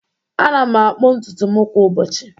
Ana m akpu ntutu m kwa ụbọchị